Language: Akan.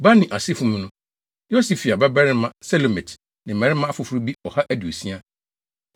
Bani asefo mu no: Yosifia babarima Selomit ne mmarima afoforo bi ɔha aduosia.